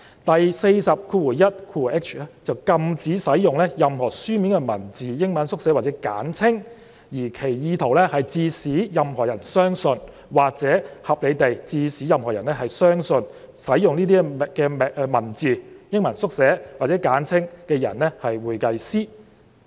第 421hi 條則禁止使用"任何書面文字、英文縮寫或簡稱，而其意圖是致使任何人相信或可合理地致使任何人相信使用該等文字、英文縮寫或簡稱的人為會計師"。